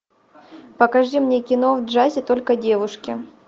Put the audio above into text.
покажи мне кино в джазе только девушки